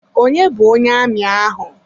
Onye bu onye amị ahụ?